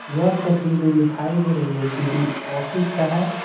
यह तस्वीर जो दिखाई दे रही है किसी ऑफिस का है।